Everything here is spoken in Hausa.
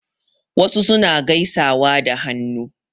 Wasu suna gaisawa da hannu.